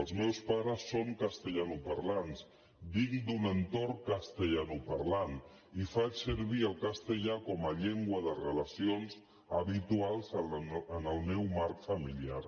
els meus pares són castellanoparlants vinc d’un entorn castellanoparlant i faig servir el castellà com a llengua de relacions habituals en el meu marc familiar